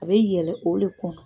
A bɛ yɛlɛ o de kɔnɔ